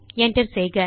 Enter செய்க